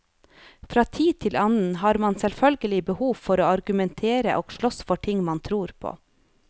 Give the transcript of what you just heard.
Fra tid til annen har man selvfølgelig behov for å argumentere og slåss for ting man tror på.